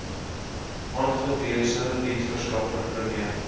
aangewese diensverskaffer prime